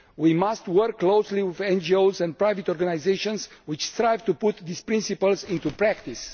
We must work closely with NGOs and private organisations which strive to put these principles into practice.